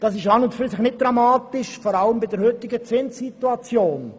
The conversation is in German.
Das ist an und für sich nicht dramatisch, insbesondere angesichts der heutigen Zinssituation.